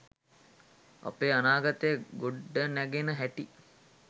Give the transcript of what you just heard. අපේ අනාගතය ගොඩනැ‍ගෙන හැටි